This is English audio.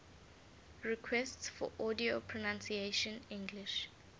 requests for audio pronunciation english